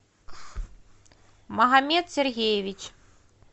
магомед сергеевич